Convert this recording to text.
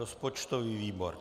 Rozpočtový výbor.